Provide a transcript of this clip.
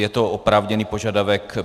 Je to oprávněný požadavek.